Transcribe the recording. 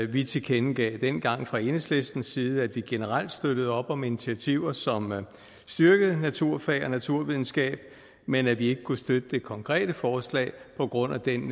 vi tilkendegav dengang fra enhedslistens side at vi generelt støttede op om initiativer som styrkede naturfag og naturvidenskab men at vi ikke kunne støtte det konkrete forslag på grund af den